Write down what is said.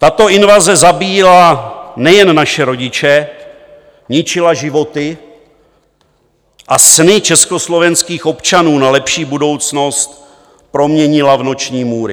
Tato invaze zabíjela nejen naše rodiče, ničila životy a sny československých občanů na lepší budoucnost proměnila v noční můry.